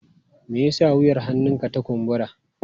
Me yasa wuyar hannunka ta kumbura?